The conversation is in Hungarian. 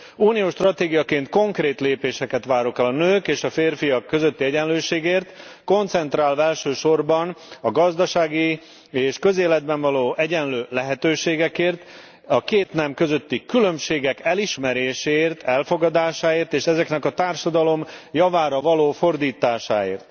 Uniós stratégiaként konkrét lépéseket várok el a nők és a férfiak közötti egyenlőségért, koncentrálva elsősorban a gazdasági és közéletben való egyenlő lehetőségekért, a két nem közötti különbségek elismeréséért, elfogadásáért és ezeknek a társadalom javára való fordításáért.